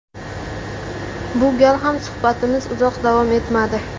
Bu gal ham suhbatimiz uzoq davom etmadi.